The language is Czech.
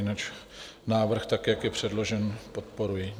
Jinak návrh tak, jak je předložen, podporuji.